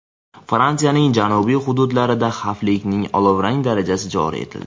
Fransiyaning janubiy hududlarida xavflilikning olovrang darajasi joriy etildi.